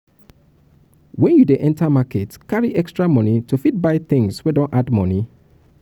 when you dey enter market carry extra money to fit buy things wey don add money